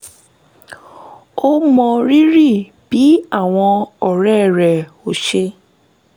ó mọrírì bí àwọn ọ̀rẹ́ rẹ̀ um ò ṣe